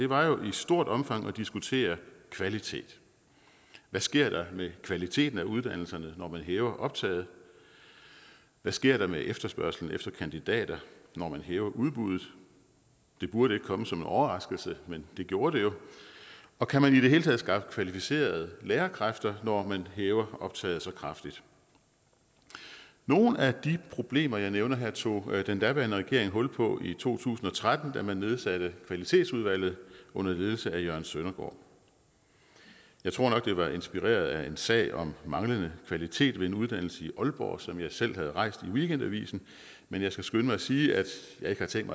var jo i stort omfang at diskutere kvalitet hvad sker der med kvaliteten af uddannelserne når man hæver optaget hvad sker der med efterspørgslen efter kandidater når man hæver udbuddet det burde ikke komme som en overraskelse men det gjorde det jo og kan man i det hele taget skaffe kvalificerede lærerkræfter når man hæver optaget så kraftigt nogle af de problemer jeg nævner her tog den daværende regering hul på i to tusind og tretten da man nedsatte kvalitetsudvalget under ledelse af jørgen søndergaard jeg tror nok det var inspireret af en sag om manglende kvalitet ved en uddannelse i aalborg som jeg selv havde rejst i weekendavisen men jeg skal skynde mig at sige at jeg ikke har tænkt